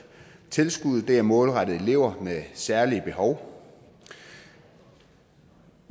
tilskuddet er målrettet elever med særlige behov vi